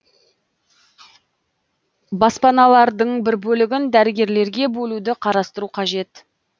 баспаналардың бір бөлігін дәрігерлерге бөлуді қарастыру қажет